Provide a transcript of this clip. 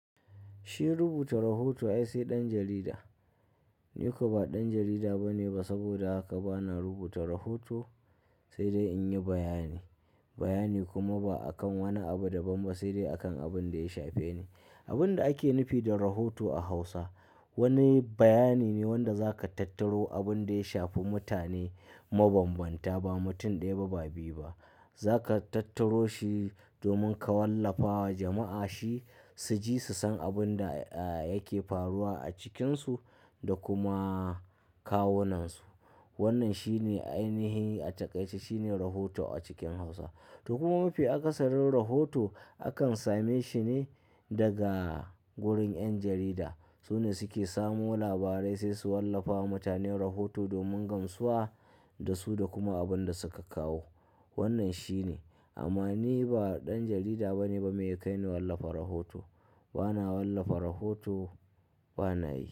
Shi rubuta rahoto ai sai ɗan jarida. Ni ko ba ɗan jarida bane ba saboda haka bana rubuta rahoto, sai dai in yi bayani. Bayani kuma ba'a kan wani abu daban ba sai dai a kan abun da ya shafe ne. Abin da ake nufi da rahoto a Hausa wani bayani ne wanda zaka tattaro abin da ya shafi mutane, mabambanta ba mutum ɗaya ba ba biyu ba. Zaka tattaro shi domin ka wallafa wa jama'a shi su ji su san abin da, ah, yake faruwa a cikinsu da kuma kawunansu. Wannan shi ne ainihi a taƙaice shine rahoto a cikin Hausa. To kuma mafi akasarin rahoto, akan same shi ne daga gurin ƴan jarida. Su ne suke samo labarai sai su wallafa wa mutane rahoto domin gamsuwa, da su da kuma abun da suka kawo. Wannan shi ne, amma ni ba ɗan jarida bane ba. Me yakai ni wallafa rahoto? Bana wallafa rahoto, bana yi.